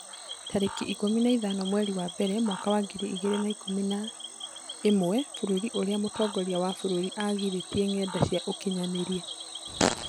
Tarĩki ikũmi na ithano mweri wa mbere mwaka wa ngiri igĩrĩ na ikũmi na ĩmwe Bũrũri ũrĩa mũtongoria wa bũrũri aagirĩtie ngenda cia ũkinyanĩria